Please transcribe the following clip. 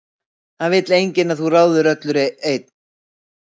Það vill enginn að þú ráðir öllu einn.